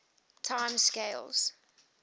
time scales